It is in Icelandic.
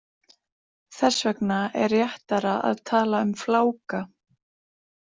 Þess vegna er réttara að tala um fláka.